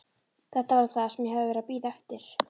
Þetta var það sem ég hafði verið að bíða eftir.